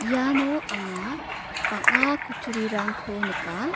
iano anga bang·a kutturirangko nika.